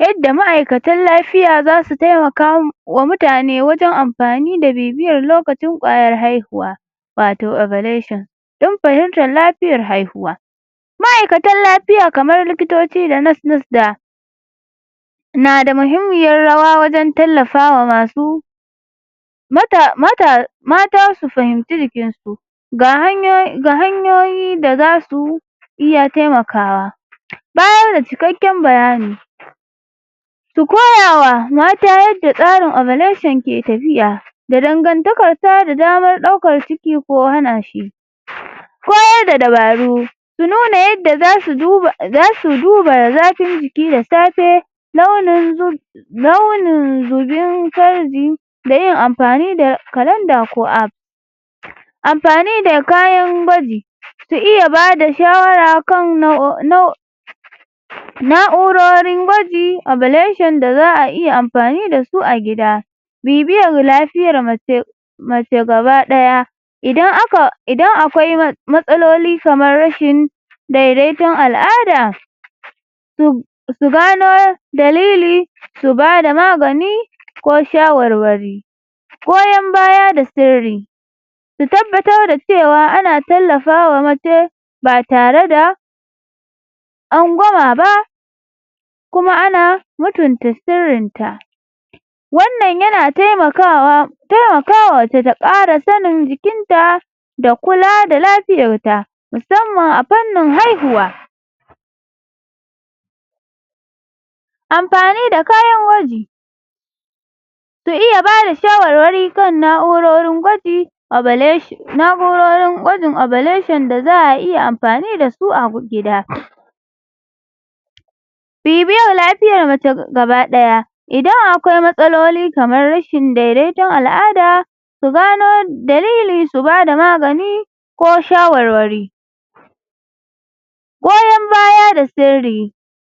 Yadda ma'aikatan lapiya zasu taimaka wa mutane wajen ampani da bibiyar lokacin ƙwayar haihuwa wato don pahimtar lapiayr haihuwa ma'aikatan lapiya kamar likitoci da da na muhimmiyar rawa wajen tallafawa masu mata su fahimci jikinsu ga ga hanyoyi da zasu iya temakawa bayar da cikakken bayani su koya wa mata yadda tsarin ke tafiya da dangantakar sa da damar ɗaukar ciki ko hana shi koyar da dabaru su nuna yadda zasu duba zasu duba zafin jiki da safe launin launin zubin farji da yin ampani da ko[ ampani da kayan gwaji su iya bada shawara kan na'urori gwaji da za a iya ampani da su a gida bibiyar lafiyar mace mace gaba ɗaya idan aka idan akwai matsaloli kamar rashin daidaton al'ada su gano dalili su bada magani ko shawarwari goyon baya da sirri su tabbatar da cewa ana tallafa wa mace ba tare da tsangwama ba kuma ana mutunta sirrin ta wannan yana taimakawa taimakawa mace ta ƙara sanin jikinta da kula da lapiyar ta musamman a pannin haihuwa ampani da kayan gwaji su iya bada shawarwari kan na'urorin gwaji na'urorin gwajin da za a iya ampani da su a gida bibiyar lapiyar mace gaba daya idan akwai matsaloli kamar rashin daidaiton al'ada su gano dalili su bada magani ko shawarwari goyon baya da sirri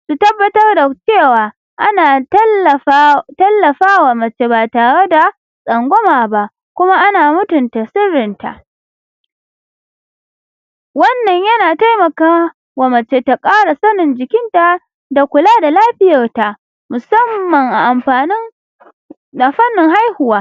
su tabbatar da cewa ana tallafa tallafawa mace ba tare da tsangwama ba kuma ana mutunta sirrin ta wannan yana taimaka wa mace ta kara sanin jiikinta da kula da lapiyarta musamman a ampanin da fannin haihuwa.